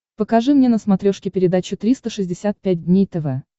покажи мне на смотрешке передачу триста шестьдесят пять дней тв